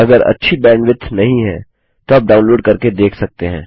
अगर अच्छी बैंडविड्थ नहीं है तो आप डाउनलोड करके देख सकते हैं